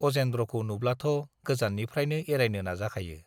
अजेन्द्रखौ नुब्लाथ' गोजाननिफ्रायनो एरायनो नाजाखायो।